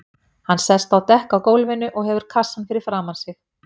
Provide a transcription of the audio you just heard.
Hann sest á dekk á gólfinu og hefur kassann fyrir framan sig.